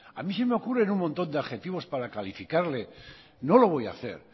a mí se me ocurren un montón de adjetivos para calificarle no lo voy a hacer